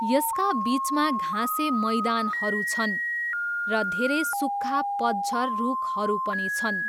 यसका बिचमा घाँसे मैदानहरू छन् र धेरै सुक्खा पतझर रुखहरू पनि छन्।